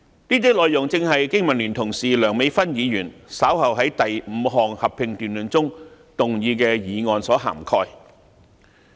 這些內容正是我的香港經濟民生聯盟同事梁美芬議員稍後會在第五項合併辯論中動議的議案所涵蓋。